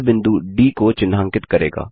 यह बिंदु डी को चिन्हांकित करेगा